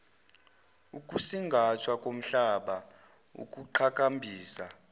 ukusingathwa komhlaba ukuqhakambisa